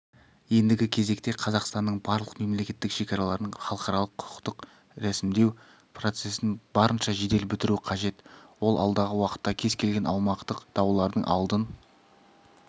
ендігі кезекте қазақстанның барлық мемлекеттік шекараларын халықаралық-құқықтық рәсімдеу процесін барынша жедел бітіру қажет ол алдағы уақытта кез келген аумақтық даулардың алдын